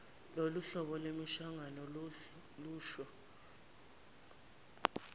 loluhlobo lwemihlangano lusho